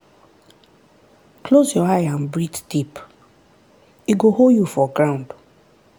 close your eye and breathe deep — e go hold you for ground.